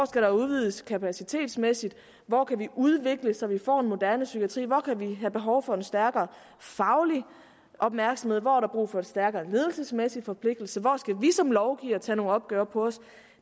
skal udvides kapacitetsmæssigt hvor kan vi udvikle så vi får en moderne psykiatri hvor kan vi have behov for en stærkere faglig opmærksomhed hvor er der brug for en stærkere ledelsesmæssig forpligtelse hvor skal vi som lovgivere tage nogle opgør på os